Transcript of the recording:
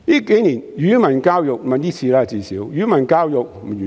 這次施政報告完全沒有提及語文教育。